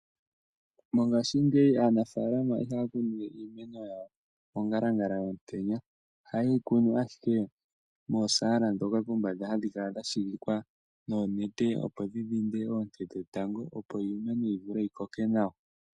Mongaashingeyi aanafalama iha ya kunu we iimeno yawo mongalangala yomutenya oha ye yi kunu ashike moosala ndhoka pombanda hadhi kala dha shigikwa noonete opo dhi dhinde oonte dhe tango opo iimeno yi vule yi koke nawa.